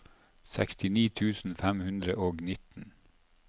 sekstini tusen fem hundre og nitten